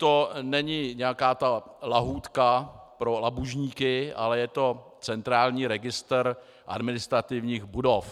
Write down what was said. To není nějaká ta lahůdka pro labužníky, ale je to centrální registr administrativních budov.